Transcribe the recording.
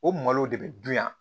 O malo de bɛ dun yan